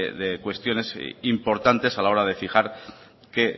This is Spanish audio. de cuestiones importantes a la hora de fijar que